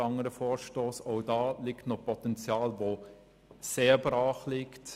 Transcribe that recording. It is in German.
Diesbezüglich liegt noch sehr viel Potenzial brach.